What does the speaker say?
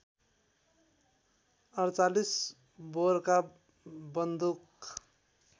४८ बोरका बन्दुक